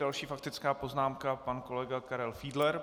Další faktická poznámka pan kolega Karel Fiedler.